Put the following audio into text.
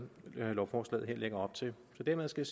lovforslaget her lægger op til dermed skal